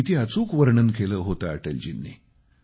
किती अचूक वर्णन केलं होते अटलजींनी